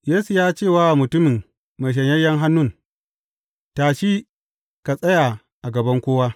Yesu ya ce wa mutumin mai shanyayyen hannun, Tashi ka tsaya a gaban kowa.